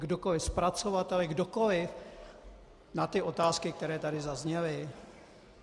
Kdokoli, zpracovatelé, kdokoliv, na ty otázky, které tady zazněly?